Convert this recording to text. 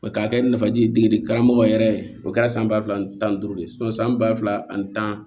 K'a kɛ nafaji ye degeden karamɔgɔ yɛrɛ o kɛra san ba fila ani tan ni duuru de san ba fila ani tan